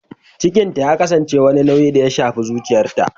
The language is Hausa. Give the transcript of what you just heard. Cikinta ya kasance wani nauyi da ya shafi zuciyarta